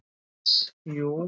Iss, jú.